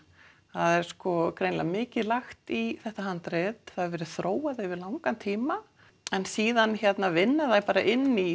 það er greinilega mikið lagt í þetta handrit það hefur verið þróað yfir langan tíma en síðan vinna þær bara inn í